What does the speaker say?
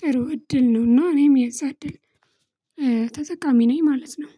ጥሩ እድል ነውና እኔም የዛ እድል ተጠቃሚ ነኝ ማለት ነው።